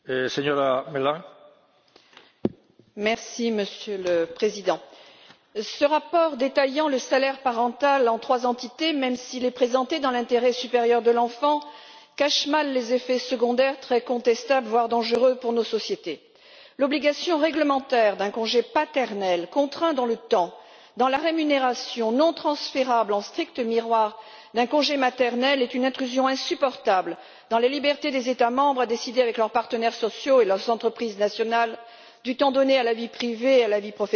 Monsieur le Président, ce rapport qui détaille le salaire parental en trois entités, même s'il est présenté dans l'intérêt supérieur de l'enfant, cache mal les effets secondaires très contestables, voire dangereux, pour nos sociétés. L'obligation réglementaire d'un congé paternel, contraint dans le temps, dans la rémunération non transférable, en strict miroir d'un congé maternel, est une intrusion insupportable dans les libertés qu'ont les États membres de décider, avec leurs partenaires sociaux et leurs entreprises nationales, du temps donné à la vie privée et à la vie professionnelle, mais surtout au cadre de l'accueil du jeune enfant.